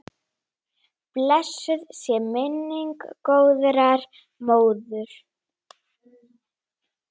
Blessuð sé minning góðrar móður.